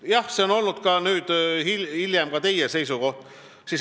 Jah, hiljem olete ka teie olnud samal seisukohal.